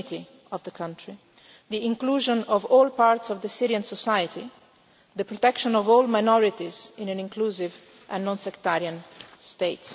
it. The unity of the country, the inclusion of all parts of Syrian society, the protection of all minorities in an inclusive and non sectarian